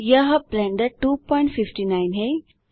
यह ब्लेंडर 259 है